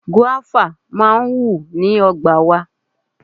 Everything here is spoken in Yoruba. Gúáfá máa ń wù ní ọgbà wa.